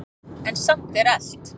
En samt er elt.